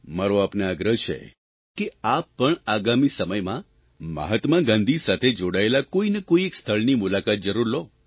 મારો આપને આગ્રહ છે કે આપ પણ આગામી સમયમાં મહાત્મા ગાંધી સાથે જોડાયેલા કોઇને કોઇ એક સ્થળની મુલાકાત જરૂર લો